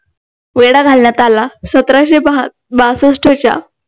वेढा घालण्यात आला सतराशे बासष्टच्या